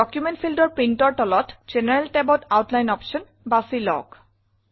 document fieldৰ Printৰ তলত জেনাৰেল tabত আউটলাইন অপশ্যন বাছি লওক